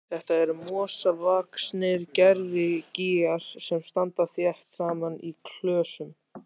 Þetta eru mosavaxnir gervigígar sem standa þétt saman í klösum.